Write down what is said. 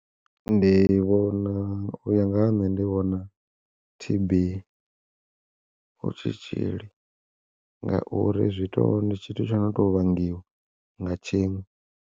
Ndi vhona u ya nga ha nṋe ndi vhona T_B hu tshitzhili, ngauri zwi to ndi tshithu tsho no to vhangiwa nga tshiṅwe.